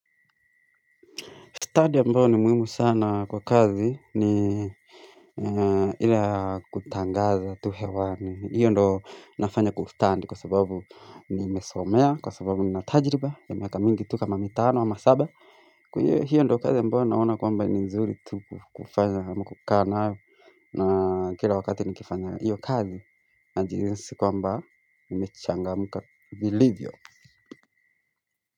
Stadi ambayo ni muimu sana kwa kazi ni ila kutangaza tu hewani. Hiyo ndo nafanya kwa ustandi kwa sababu nimesomea, kwa sababu nina tajriba, ya miaka mingi tu kama mitano ama saba. Kwa hiyo ndo kazi mbayo naona kwamba ni nzuri tu kufanya ama kukaa nayo na kila wakati nikifanya hiyo kazi najinsi kwamba nimechangamka vilivyo.